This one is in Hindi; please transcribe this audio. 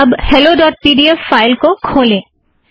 अब hello dot P D F file को खोलें